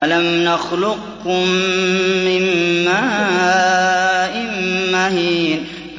أَلَمْ نَخْلُقكُّم مِّن مَّاءٍ مَّهِينٍ